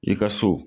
I ka so